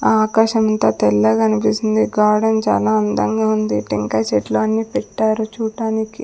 ఆకాశం ఇంత తెల్లగా అనిపిస్తుంది. గార్డెన్ చాలా అందంగా ఉంది. టెంకాయ చెట్లు అన్ని పెట్టారు చూడటానికి.